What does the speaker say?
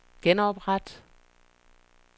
genopret